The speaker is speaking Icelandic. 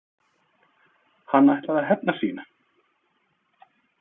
Hann ætlaði að hefna sín!